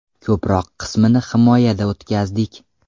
Ko‘proq qismini himoyada o‘tkazdik.